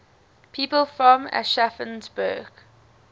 people from aschaffenburg